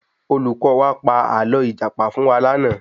Olùkọ́ wa pa ààlọ́ ìjàpá fún wa lànà